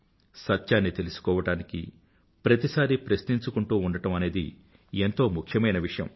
సత్యాన్ని తెలుసుకోవడానికి ప్రతిసారీ ప్రశ్నించుకుంటూ ఉండడం అనేది ఎంతో ముఖ్యమైన విషయం